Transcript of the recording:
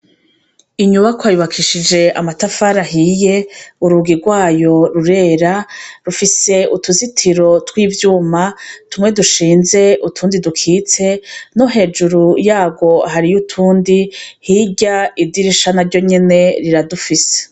Inyubakwa yubakishije amatafari ahiye urugi rwayo rurera rufise utuzitiro tw'ivyuma tumwe dushinze utundi dukize no hejuru yarwo hariho utundi hirya idirisha na ryo nyene riradufise.